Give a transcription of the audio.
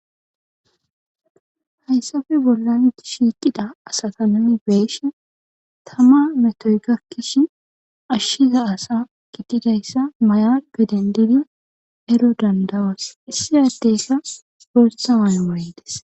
hayssafe bollan shiiqida asata nuni beeshe tama metoy gakkish ashshiza asa giddidayssa maya gaden didi ero dandawos issi addeyka gortsawan mayedes